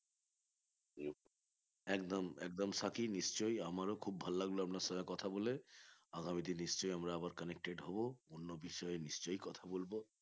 একদম একদম সাকিব নিশ্চই আমার খুব ভালো লাগলো আপনার সাথে কথা বলে আগামীতে নিশ্চই আমরা আবার connected হবে অন্য বিষয়ে নিশ্চই কথা বলবো